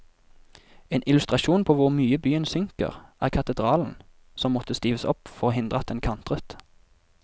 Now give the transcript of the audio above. En illustrasjon på hvor mye byen synker, er katedralen, som måtte stives opp for å hindre at den kantret.